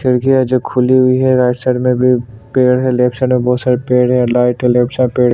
खिड़किया जो खुली हुई है राइट साइड में भी पेड़ है लेफ्ट साइड में भी बहोत सारे पेड़ है लाइट है लेफ्ट साइड पे--